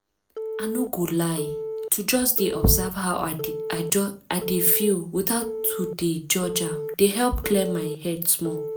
i no go lie to just dey observe how i dey feel without to dey judge am dey help clear my head small